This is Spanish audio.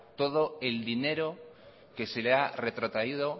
todo el dinero que se le ha retrotraído